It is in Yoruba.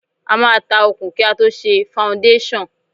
A máa ta òkun kí a tó ṣe faundéṣàn.